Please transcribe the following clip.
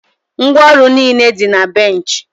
ngwaọrụ niile dị na bench